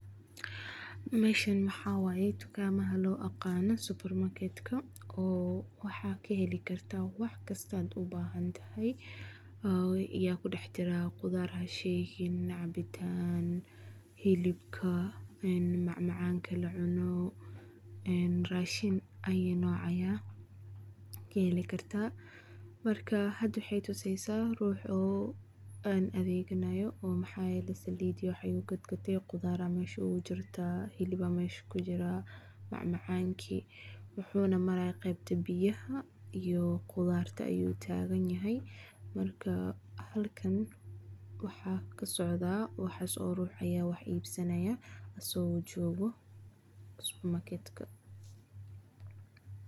Meshan maxawayee dukan ama loagano supermarket oo wahakaheli karta waxkasta aad ubahantahay, aya kudaxjiraa, qudar cabitanka hilibka macmacanka lacuno, een rashin ayi noc aya kaheli kartaa, marka had waxay tusaysa riux inu adeganayo oo mahayele salit iyo wax ayu gatgatee iyo qudar aya mesha ogujirta, macmacanki wuxuna maraya gebta biyaha iyo qydarta ayu taganyahay, marka markan waxa kasocda waxas oo rux aya wax ibsanaya asago jogoo supermarket.